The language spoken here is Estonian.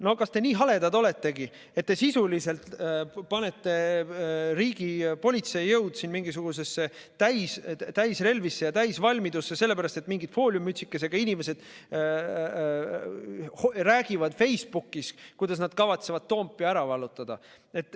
No kas te nii haledad oletegi, et te sisuliselt panete riigi politseijõud täisrelvisse ja täisvalmidusse sellepärast, et mingid fooliummütsikesega inimesed räägivad Facebookis, kuidas nad kavatsevad Toompea ära vallutada.